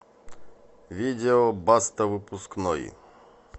видео баста выпускной